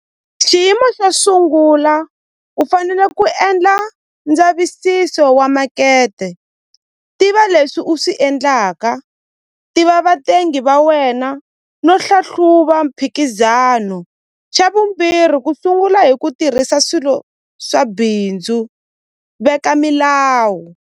Xiyimo xo sungula u fanele ku endla ndzavisiso wa makete tiva leswi u swi endlaka tiva vatengi va wena no hlahluva mphikizano xa vumbirhi ku sungula hi ku tirhisa swilo swa bindzu veka milawu.